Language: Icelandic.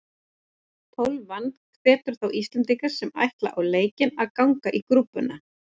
Tólfan hvetur þá Íslendinga sem ætla á leikinn að ganga í grúppuna.